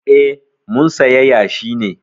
Eh, mun saya yashi ne.